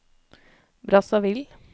Brazzaville